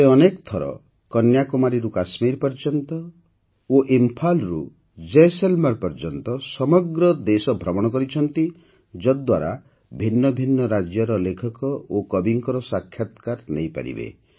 ସେ ଅନେକ ଥର କନ୍ୟାକୁମାରୀରୁ କାଶ୍ମୀର ପର୍ଯ୍ୟନ୍ତ ଓ ଇମ୍ଫାଲ୍ରୁ ଜୈସଲମେର୍ ପର୍ଯ୍ୟନ୍ତ ସମଗ୍ର ଦେଶ ଭ୍ରମଣ କରିଛନ୍ତି ଯଦ୍ଦ୍ୱାରା ଭିନ୍ନ ଭିନ୍ନ ରାଜ୍ୟର ଲେଖକ ଓ କବିଙ୍କର ସାକ୍ଷାତକାର ନେଇପାରିବେ